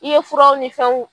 I ye furaw ni fɛw